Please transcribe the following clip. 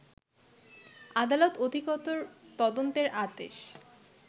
আদালত অধিকতর তদন্তের আদেশ